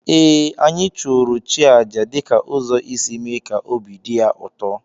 Ee, anyị chụụrụ chi aja dị ka ụzọ isi mee ka obi dị ya ụtọ